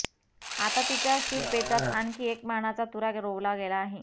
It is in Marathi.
आता तिच्या शिरपेचात आणखी एक मानाचा तुरा रोवला गेला आहे